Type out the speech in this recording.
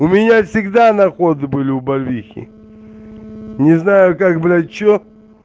у меня всегда находы были у барвихи не знаю как блять че